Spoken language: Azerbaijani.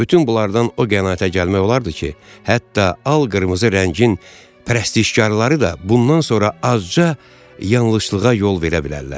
Bütün bunlardan o qənaətə gəlmək olardı ki, hətta al qırmızı rəngin prestişkarları da bundan sonra azca yanlışlığa yol verə bilərlər.